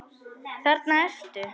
Þarna ertu!